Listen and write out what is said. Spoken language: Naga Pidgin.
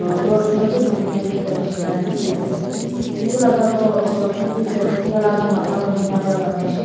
dorwaja bi khulina thakia nishina dikhi pai ase itu laga ghor osor chutu toh tailaga matha tu tina pra bania shey.